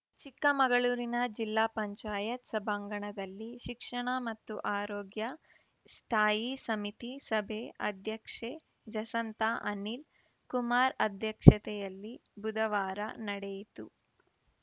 ಚಿಕ್ಕಮಗಳೂರಿನ ಜಿಲ್ಲಾ ಪಂಚಾಯತ್ ಸಭಾಂಗಣದಲ್ಲಿ ಶಿಕ್ಷಣ ಮತ್ತು ಆರೋಗ್ಯ ಸ್ಥಾಯಿ ಸಮಿತಿ ಸಭೆ ಅಧ್ಯಕ್ಷೆ ಜಸಂತಾ ಅನಿಲ್‌ಕುಮಾರ್‌ ಅಧ್ಯಕ್ಷತೆಯಲ್ಲಿ ಬುಧವಾರ ನಡೆಯಿತು